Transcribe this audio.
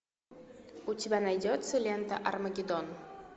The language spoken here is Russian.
у тебя найдется лента армагеддон